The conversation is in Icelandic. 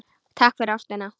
Takk fyrir ástina.